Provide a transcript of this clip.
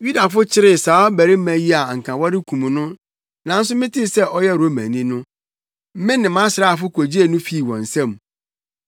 Yudafo kyeree saa ɔbarima yi a anka wɔrekum no, nanso metee sɛ ɔyɛ Romani no, me ne mʼasraafo kogyee no fii wɔn nsam.